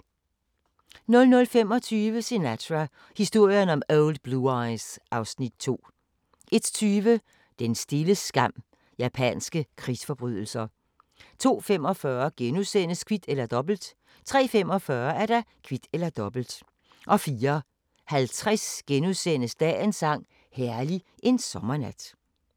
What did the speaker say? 00:25: Sinatra – historien om Old Blue Eyes (Afs. 2) 01:20: Den stille skam – japanske krigsforbrydelser 02:45: Kvit eller Dobbelt * 03:45: Kvit eller Dobbelt 04:50: Dagens sang: Herlig en sommernat *